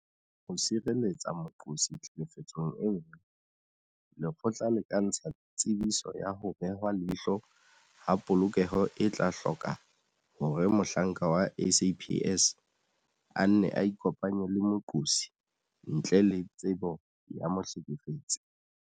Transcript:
Ho sireletsa moqosi tlhekefetsong e nngwe, lekgotla le ka ntsha Tsebiso ya ho Behwa leihlo ha Polokeho e tla hloka hore mohlanka wa SAPS a nne a ikopanye le moqosi ntle le tsebo ya mohlekefetsi.